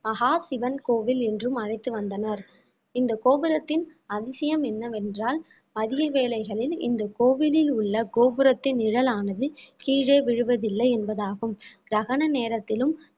மகாசிவன் கோவில் என்றும் அழைத்து வந்தனர் இந்த கோபுரத்தின் அதிசயம் என்னவென்றால் அதிக வேளைகளில் இந்த கோவிலில் உள்ள கோபுரத்தின் நிழலானது கீழே விழுவதில்லை என்பதாகும் கிரகண நேரத்திலும்